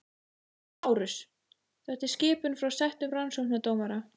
LÁRUS: Þetta er skipun frá settum rannsóknardómara.